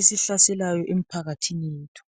esihlaselayo emphakathini yethu.